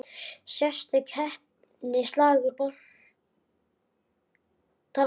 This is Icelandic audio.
Sérstök heppni, slagur botnar allt.